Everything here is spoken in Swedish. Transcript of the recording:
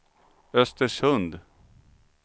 Östersund